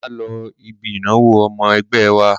Máa lọ ibi ìnáwó ọmọ ẹgbẹ́ wa.